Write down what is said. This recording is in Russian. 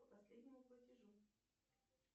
по последнему платежу